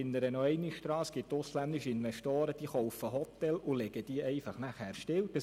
Ich erinnere noch einmal daran, dass ausländische Investoren Hotels kaufen und sie nachher einfach stilllegen.